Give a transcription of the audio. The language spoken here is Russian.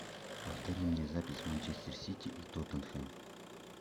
повтори мне запись манчестер сити и тоттенхэм